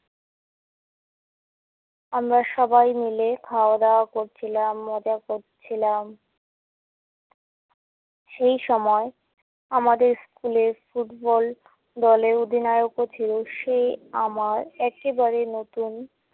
আমরা সবাই মিলে খাওয়া-দাওয়া করছিলাম, মজা করছিলাম। সেইসময় আমাদের স্কুলের ফুটবল দলের অধিনায়কও ছিলো। সে আমার একেবারে নতুন